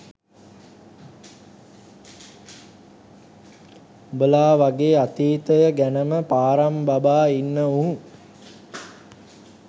උඹලා වගේ අතීතය ගැනම පාරම් බබා ඉන්න උන්